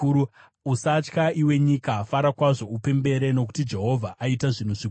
Usatya iwe nyika; fara zvako upembere. Zvirokwazvo Jehovha aita zvinhu zvikuru.